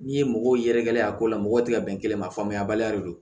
N'i ye mɔgɔw yɛrɛgɛla ye a ko la mɔgɔ tɛ ka bɛn kelen ma faamuya baliya de don